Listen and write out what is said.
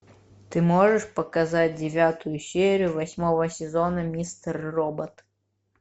ты можешь показать девятую серию восьмого сезона мистер робот